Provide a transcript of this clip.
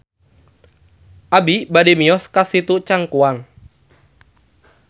Abi bade mios ka Situ Cangkuang